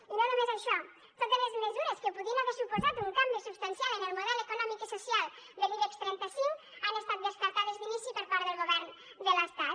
i no només això totes les mesures que podrien haver suposat un canvi substancial en el model econòmic i social de l’ibex trenta cinc han estat descartades d’inici per part del govern de l’estat